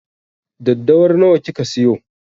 Daddawar nawa kika siyo?